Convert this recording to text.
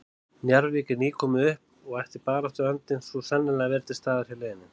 Njarðvík er nýkomið upp og ætti baráttuandinn svo sannarlega að vera til staðar hjá liðinu.